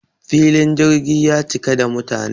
filin jirgi ya cika da mutane